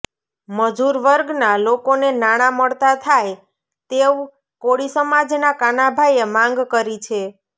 મજુર વર્ગના લોકોને નાણા મળતા થાય તેવ કોળી સમાજના કાનાભાઈએ માંગ કરી છે